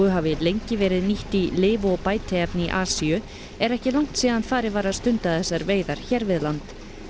hafi lengi verið nýtt í lyf og bætiefni í Asíu er ekki langt síðan farið var að stunda þessar veiðar hér við land